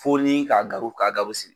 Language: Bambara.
Fo ni k'a sigi.